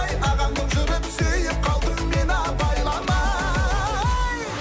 ағаң болып жүріп сүйіп қалдым мен абайламай